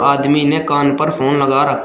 आदमी ने कान पर फोन लगा रखा--